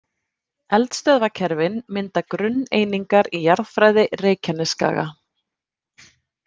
Eldstöðvakerfin mynda grunneiningar í jarðfræði Reykjanesskaga.